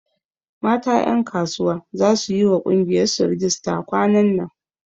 Mata ƴankasuwa za su yiwa ƙungiyar su rijista kwanan nan